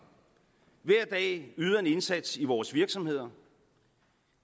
hver dag yder en indsats i vores virksomheder